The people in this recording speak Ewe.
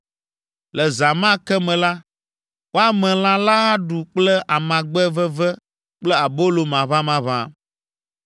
Le zã ma ke me la, woame lã la aɖu kple amagbe veve kple abolo maʋamaʋã.